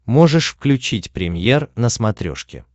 можешь включить премьер на смотрешке